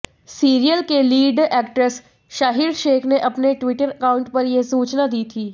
serial के lead actors Shaheer Sheikh ने अपने ट्विटर अकाउंट पर यह सूचना दी थी